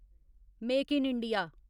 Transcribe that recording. make in India